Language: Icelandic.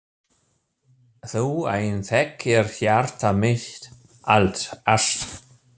Þú ein þekkir hjarta mitt allt.